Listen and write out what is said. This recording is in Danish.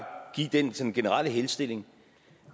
give den generelle henstilling